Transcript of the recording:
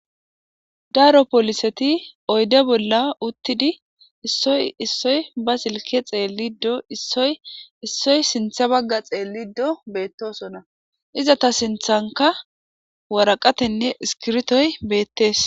daaro poliseti oyde bolla uttidi issoy issoy ba silke xeellido issoy issoy sintha bagga xeellido beettoosona iza ta sinthanka waraqatenne iskirtoy beettees